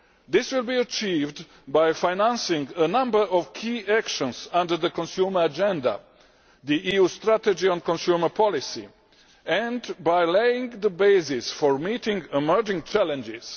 This will be achieved by financing a number of key actions under the Consumer Agenda the EU strategy on consumer policy and by laying the basis for meeting emerging challenges.